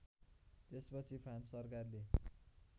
त्यसपछि फ्रान्स सरकारले